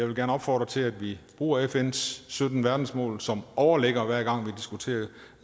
vil opfordre til at vi bruger fns sytten verdensmål som overligger hver gang vi diskuterer